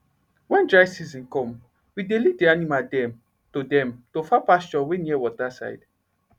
wen dry season come we dey lead d animal dem to dem to far pasture wey near water side